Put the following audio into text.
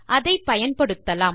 அதை பயன்படுத்தலாம்